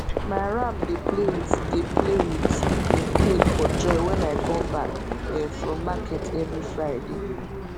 ma ram dey play with dey play with im tail for joy wen i come back um from market every friday